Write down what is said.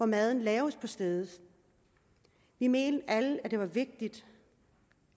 maden laves på stedet vi mente alle at det er vigtigt